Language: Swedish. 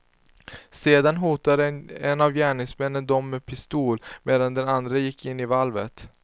Sedan hotade en av gärningsmännen dem med pistol, medan den andre gick in i valvet.